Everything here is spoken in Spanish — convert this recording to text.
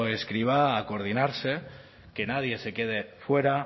escrivá a coordinarse que nadie se quede fuera